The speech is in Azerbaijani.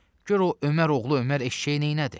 Gör o Ömər oğlu Ömər eşşəyi neynədi?